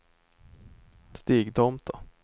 Stigtomta